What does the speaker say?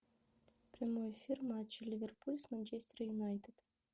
прямой эфир матча ливерпуль с манчестер юнайтед